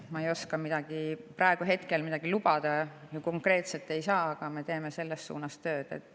Ma ei oska ja ma ei saa praegu midagi konkreetset lubada, aga me teeme selles suunas tööd.